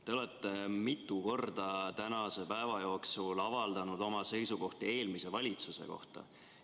Te olete mitu korda tänase päeva jooksul avaldanud oma seisukohti eelmise valitsuse kohta.